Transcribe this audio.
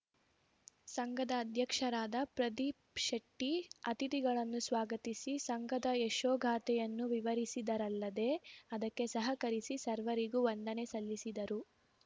ಸಂಘದ ಅಧ್ಯಕ್ಷರಾದ ಪ್ರದೀಪ್‌ ಶೆಟ್ಟಿಅತಿಥಿಗಳನ್ನು ಸ್ವಾಗತಿಸಿ ಸಂಘದ ಯಶೋಗಾಥೆಯನ್ನು ವಿವರಿಸಿದರಲ್ಲದೇ ಅದಕ್ಕೆ ಸಹಕರಿಸಿ ಸರ್ವರಿಗೂ ವಂದನೆ ಸಲ್ಲಿಸಿದರು